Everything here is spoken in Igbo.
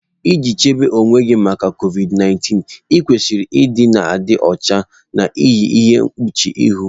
Iji chebe onwe gị maka COVID 19, ịkwesịrị ịdị na-adị ọcha, na-eyi ihe mkpuchi ihu.